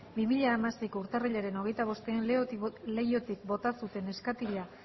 bi mila hamaseiko urtarrilaren hogeita bostean leihotik bota zuten neskatila